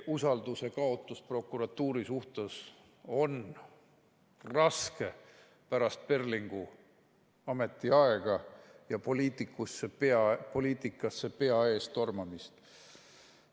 Usalduse kaotus prokuratuuri suhtes on raske pärast Perlingu ametiaega ja poliitikasse pea ees tormamist.